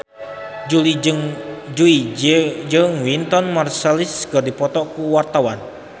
Jui jeung Wynton Marsalis keur dipoto ku wartawan